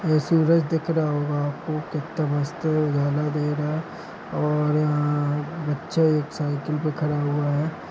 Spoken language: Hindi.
ये सूरज दिख रहा होगा आप को कितना मस्त नजारा दे रहा है और यहाँ बच्चा एक साइकिल पे खड़ा हुआ है।